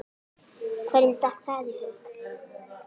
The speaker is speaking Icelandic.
Hverjum datt það í hug?!